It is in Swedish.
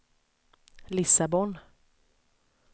Lissabon